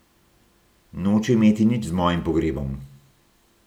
Noče imeti nič z mojim pogrebom.